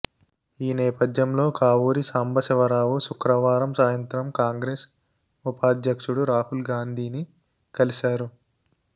ఈ నేపథ్యంలో కావూరి సాంబశివరావు శుక్రవారం సాయంత్రం కాంగ్రెస్ ఉపాధ్యక్షుడు రాహుల్ గాంధీని కలిశారు